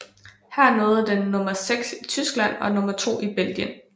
Her nåede den nummer 6 i Tyskland og nummer 2 i Belgien